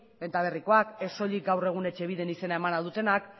benta berrikoak ez soilik gaur egun etxebiden izena emana dutenak